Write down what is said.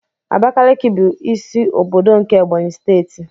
Abakiliki bụ isi ọbọdọ nke Ebonyi steeti.